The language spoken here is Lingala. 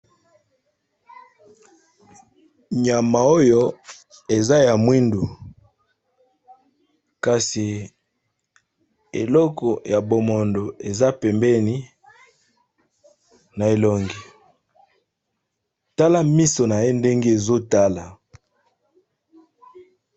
Nyama oyo eza ya mwindu ! kasi eloko ya bomondo eza pembeni na elongi, tala miso na ye ndenge ezotala.